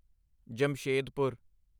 Jamshedpur